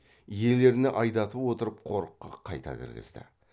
иелеріне айдатып отырып қорыққа қайта кіргізді